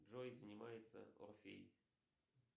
джой занимается орфей